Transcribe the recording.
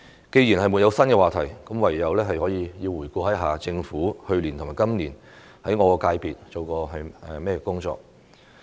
既然沒有新話題，我唯有回顧一下政府去年和今年就我的界別做過甚麼工作。